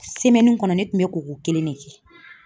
kɔnɔ ne tun bɛ koko kelen de kɛ